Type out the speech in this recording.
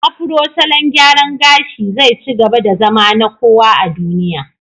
Afro salon gyaran gashi zai ci gaba da zama na kowa a duniya.